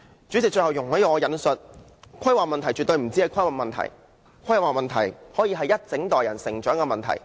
主席，最後容許我重複，規劃問題絕對不止是規劃問題，規劃問題可以是一整代人成長的問題。